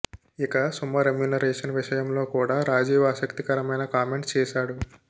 ఇక సుమ రెమ్యూనరేషన్ విషయంలో కూడా రాజీవ్ ఆసక్తికరమైన కామెంట్స్ చేసాడు